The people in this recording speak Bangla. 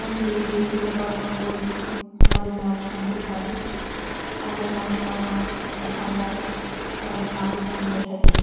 মন্দিরে গিয়ে পুজো পারবেন করে আমাদের মন শান্তি হয় আমাদের মনোস্কামনা কথা আমরা আমাদের মা কে জানিয়ে থাকি